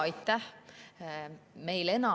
Aitäh!